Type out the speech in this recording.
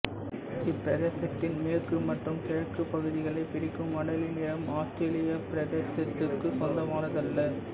இப்பிரதேசத்தின் மேற்கு மற்றும் கிழக்குப் பகுதிகளைப் பிரிக்கும் அடேலி நிலம் ஆஸ்திரேலியப் பிரதேசத்துக்குச் சொந்தமானதல்ல